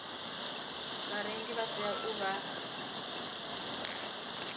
vharengi vha tea u vha